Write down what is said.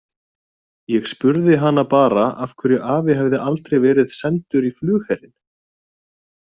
Ég spurði hana bara af hverju afi hefði aldrei verið sendur í flugherinn.